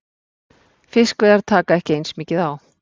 Fiskveiðar taka ekki eins mikið á.